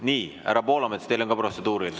Nii, härra Poolamets, teil on ka protseduuriline.